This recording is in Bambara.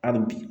Hali bi